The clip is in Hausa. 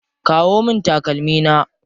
Kawo min takalmi na.